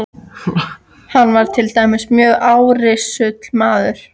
Hann var til dæmis mjög árrisull maður.